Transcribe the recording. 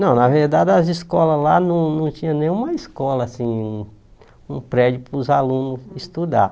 Não, na verdade as escolas lá não não tinham nenhuma escola, assim, um prédio para os alunos estudarem.